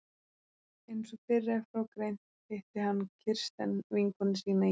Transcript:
Einsog fyrr er frá greint hitti hann Kirsten vinkonu sína í